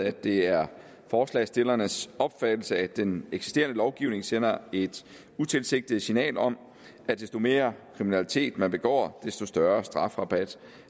at det er forslagsstillernes opfattelse at den eksisterende lovgivning sender et utilsigtet signal om at desto mere kriminalitet man begår desto større strafrabat